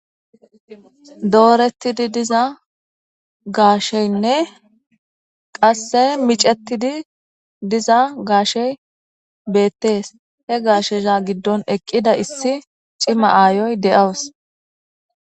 Doorettidi diza gaasheynne qasse micettidi diza gaashey beettees he gaashesha giddon eqqida issi cima aayoy de7aws.